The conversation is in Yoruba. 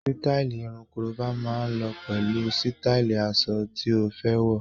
Sítáì irun korobá máa lọ pẹ̀lú sítáì aṣọ tí ó fẹ́ wọ̀.